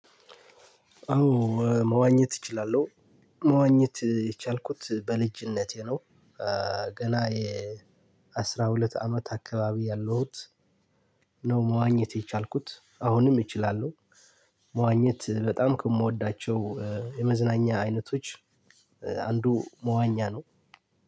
አዎ መዋኘት እችላለሁ መዋኘት የቻልኩት በልጅነቴ ነው። ገና የ አስራ ሁለት አመት አከባቢ ያለሁት። ነው መዋኘት የቻልኩት አሁንም እችላለሁ። መዋኘት በጣም ከምወዳቸው የመዝናኛ አይነቶች አንዱ መዋኛ ነው።